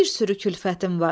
Bir sürü külfətim var.